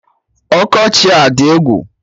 Ọkọchị a adị egwu!